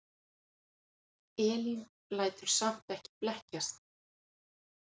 Elín lætur samt ekki blekkjast.